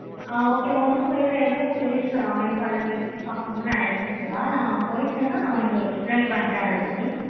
ஆஹ் okay உனக்கு வேற place எதுவும் place america ல நீ சுத்தி பார்க்கணும் நினச்சின நா போயி இருந்தேன உனக்கு explain பண்றேன் அது பத்தி